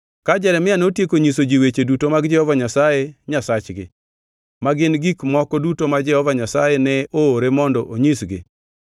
Ka Jeremia notieko nyiso ji weche duto mag Jehova Nyasaye Nyasachgi, ma gin gik moko duto ma Jehova Nyasaye ne oore mondo onyisgi,